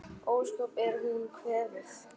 Ósköp er hún kvefuð.